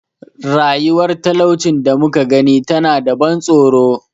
Rayuwar talaucin da muka gani tana da ban tsoro.